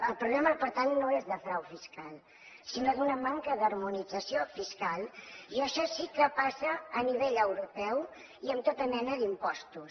el problema per tant no és de frau fiscal sinó d’una manca d’harmonització fiscal i això sí que passa a nivell europeu i amb tota mena d’impostos